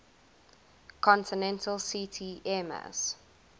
continental ct airmass